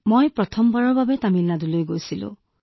হয় মই প্ৰথমবাৰৰ বাবে গৈছিলো